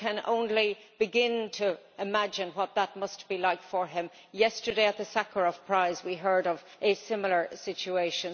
I can only begin to imagine what that must be like for him. Yesterday at the Sakharov Prize we heard of a similar situation.